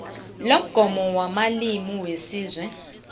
lomgomo wamalimi wesizwe